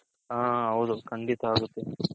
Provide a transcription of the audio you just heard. ಆ ಹೌದು ಕಂಡಿತ ಅಗುತೆ.